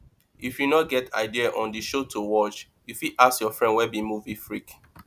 if you no get idea on di show to watch you fit ask your friend wey be movie freak